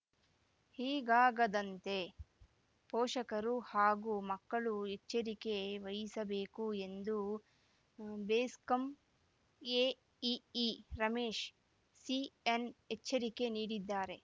ಹೀಗಾಗದಂತೆ ಪೋಷಕರು ಹಾಗೂ ಮಕ್ಕಳು ಎಚ್ಚರಿಕೆ ವಹಿಸಬೇಕು ಎಂದು ಬೆಸಕಂ ಎಇಇ ರಮೇಶ್‌ ಸಿಎನ್‌ ಎಚ್ಚರಿಕೆ ನೀಡಿದ್ದಾರೆ